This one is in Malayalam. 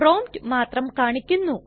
പ്രോംപ്റ്റ് മാത്രം കാണിക്കുന്നു